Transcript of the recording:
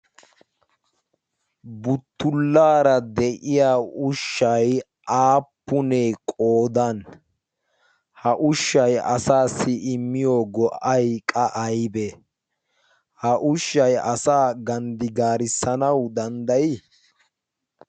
Buttullaara de7iya ushshay aappunee qoodan? ha ushshay asaassi immiyo go77ay qa aybbee? ha ushshay asaa ganddigaarissanawu danddayii?